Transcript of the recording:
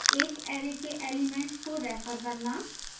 एक array के elements को refer करना